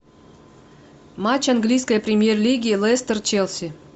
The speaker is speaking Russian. матч английской премьер лиги лестер челси